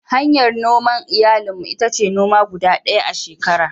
Hanyar noman iyali mu ita ce noma guda ɗaya a shekara.